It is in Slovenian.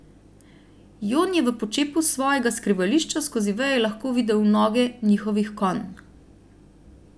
Jon je v počepu s svojega skrivališča skozi veje lahko videl noge njihovih konj.